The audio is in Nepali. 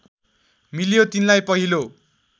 मिल्यो तिनलाई पहिलो